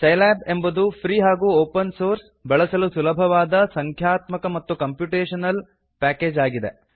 Scilab ಎಂಬುದು free ಹಾಗೂ open source ಬಳಸಲು ಸುಲಭವಾದ ಸಂಖ್ಯಾತ್ಮಕ ಮತ್ತು ಕಂಪ್ಯುಟೇಶನಲ್ ಪ್ಯಾಕೇಜ್ ಆಗಿದೆ